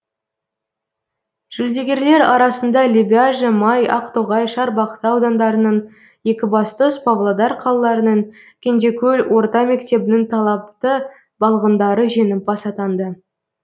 жүлдегерлер арасында лебяжі май ақтоғай шарбақты аудандарының екібастұз павлодар қалаларының кенжекөл орта мектебінің талапты балғындары жеңімпаз атанды